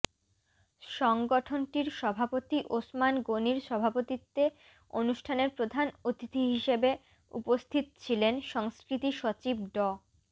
সংগঠনটির সভাপতি ওসমান গনির সভাপতিত্বে অনুষ্ঠানের প্রধান অতিথি হিসেবে উপস্থিত ছিলেন সংস্কৃতি সচিব ড